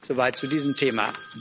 So weit zu diesem Thema.